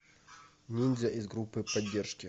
ниндзя из группы поддержки